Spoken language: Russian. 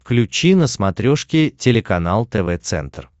включи на смотрешке телеканал тв центр